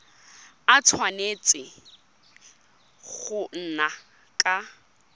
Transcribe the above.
a tshwanetse go nna ka